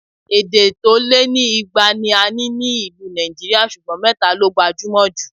Èdè tó lé ní ìgbà ni a ní ní ìlú Nàìjíríà ṣùgbọ́n mẹ́ta ló gbajúmọ̀ jù